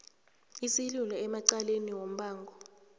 isililo emacaleni wombango